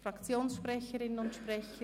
Fraktionssprecherinnen und -sprecher?